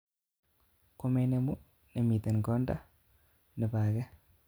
Komenemu nemitten kondab nebo agee